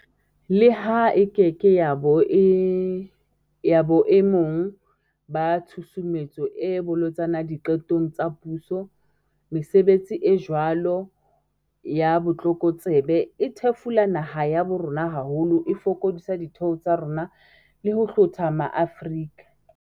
Leha e keke ya ba boe mong ba tshusumetso e bolotsana diqetong tsa puso, mesebetsi e jwalo ya botlokotsebe e thefula naha ya bo rona haholo, e fokodisa ditheo tsa rona le ho hlotha maAfrika